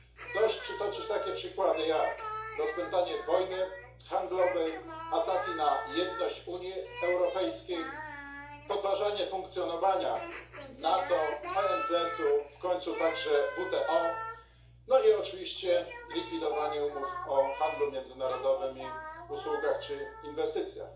Dość przytoczyć takie przykłady jak rozpętanie wojny handlowej, ataki na jedność Unii Europejskiej, podważanie funkcjonowania NATO, ONZ, w końcu także WTO, no i oczywiście likwidowanie umów o handlu międzynarodowym i usługach czy inwestycjach.